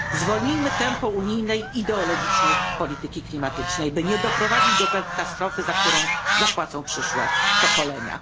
Zwolnijmy tempo unijnej ideologicznej polityki klimatycznej, by nie doprowadzić do katastrofy, za którą zapłacą przyszłe pokolenia.